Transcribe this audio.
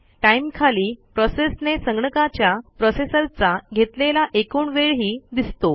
time खाली प्रोसेसने संगणकाच्या प्रोसेसरचा घेतलेला एकूण वेळही दिसतो